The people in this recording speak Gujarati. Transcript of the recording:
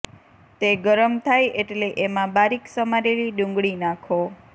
તે ગરમ થાય એટલે એમાં બારીક સમારેલી ડુંગળી નાંખો